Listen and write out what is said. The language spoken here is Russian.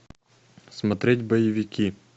смотреть боевики